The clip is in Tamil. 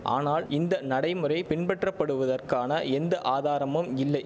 ஆனால் இந்த நடைமுறை பின்பற்றப்படுவதற்கான எந்த ஆதாரமும் இல்லை